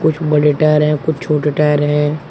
कुछ बड़े टायर हैं कुछ छोटे टायर हैं।